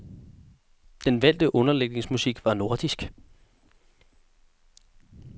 Den valgte underlægningsmusik var nordisk.